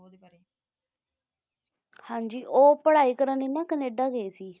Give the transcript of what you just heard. ਹਾਂ ਜੀ ਉਹ ਪੜ੍ਹਾਈ ਕਰਨ ਲਈ ਨਾ ਕਨੇਡਾ ਗਏ ਸੀ